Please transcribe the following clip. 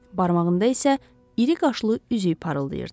Barmağında isə iri qaşlı üzük parıldayırdı.